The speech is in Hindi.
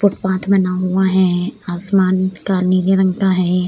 फुटपाथ बना हुआ है आसमान का नीले रंग का है।